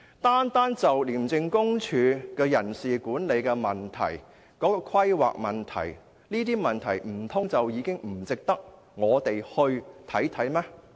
單就廉署的人事管理和規劃問題，難道不值得我們探究嗎？